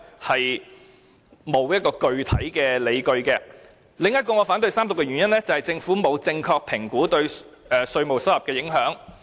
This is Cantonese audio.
此外，還有一個原因令我反對三讀這項《條例草案》，就是政府沒有正確評估對稅務收入的影響。